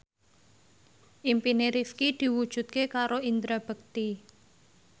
impine Rifqi diwujudke karo Indra Bekti